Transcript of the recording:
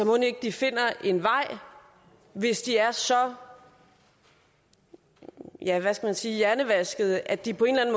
mon ikke de finder vej hvis de er så ja hvad skal man sige hjernevaskede at de på en eller